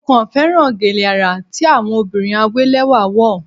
Mo kàn féràn gèlè àrà tí àwọn obìnrin àwé lẹ́wà wọ̀.